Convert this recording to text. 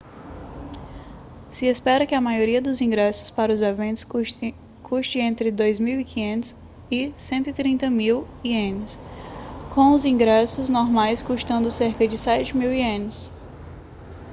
se espera que a maioria dos ingressos para os eventos custe entre 2.500 e 130.000 ienes com os ingressos normais custando cerca de 7.000 ienes